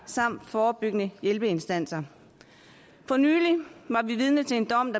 samt forebyggende hjælpeinstanser for nylig var vi vidne til en dom